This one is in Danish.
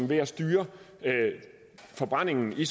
ved at styre forbrændingen i